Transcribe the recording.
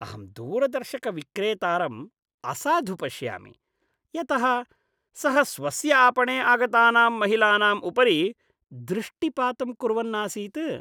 अहं दूरदर्शनविक्रेतारं असाधु पश्यामि यतः सः स्वस्य आपणे आगतानां महिलानाम् उपरि दृष्टिपातं कुर्वन् आसीत्।